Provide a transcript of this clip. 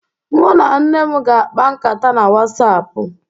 Mu na nne m ga-akpa nkatá na whatsapp.